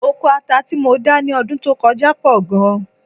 Oko ata tí mo dá ní ọdún tó kọjá pọ̀ gan-an